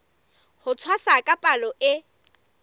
ho tshwasa ka palo e